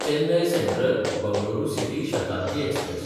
Chennai सँट्रल–बंगळुरू city Shatabdi express